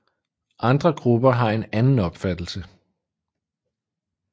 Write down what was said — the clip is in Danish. Andre grupper har en anden opfattelse